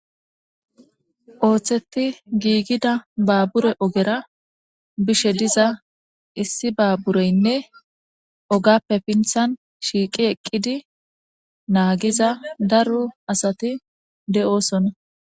Ooththetti giigida baabure ogera bishe diza issi baabureynne ogappe pinthan shiiqi eqqidi naagiza daro asati de'osonna.